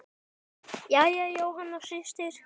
Jæja, Jóhanna systir.